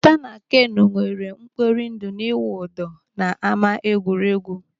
Lota na Kenu nweere mkpori ndụ n'ịwụ ụdọ n'ama egwuregwu.